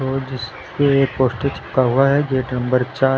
और जिस पे पोस्टर चिपका हुआ है गेट नम्बर चार--